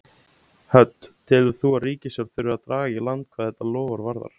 Hödd: Telur þú að í ríkisstjórn þurfi að draga í land hvað þetta loforð varðar?